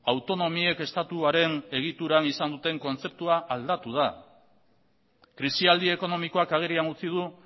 autonomiek estatuaren egituran izan duten kontzeptua aldatu da krisialdi ekonomikoak agerian utzi du